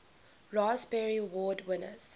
raspberry award winners